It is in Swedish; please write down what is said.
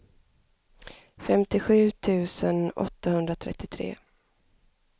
femtiosju tusen åttahundratrettiotre